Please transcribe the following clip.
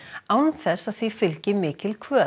án þess að því fylgi mikil kvöð